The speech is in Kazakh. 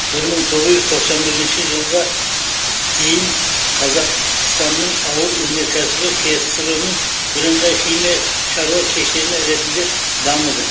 бір мың тоғыз жүз тоқсан бірінші жылға дейін қазақ станның ауыр өнеркәсібі ксро ның бірыңғай химия шаруа кешені ретінде дамыды